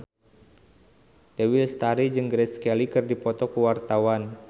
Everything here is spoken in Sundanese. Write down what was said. Dewi Lestari jeung Grace Kelly keur dipoto ku wartawan